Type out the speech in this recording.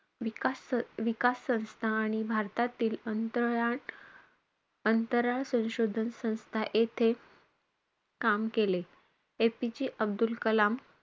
विकास स~ विकास संस्था आणि भारतातील अंतर~ अंतराळ संशोधन संस्था येथे काम केले. APJ अब्दुल कलाम,